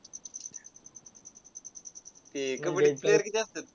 ते कबड्डीत player किती असतात?